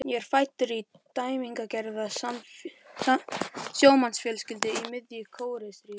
Ég er fæddur inn í dæmigerða sjómannsfjölskyldu í miðju Kóreustríði.